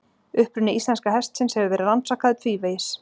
Uppruni íslenska hestsins hefur verið rannsakaður tvívegis.